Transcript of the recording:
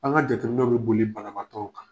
An ka jateminɛw bɛ boli banabagatɔw kan.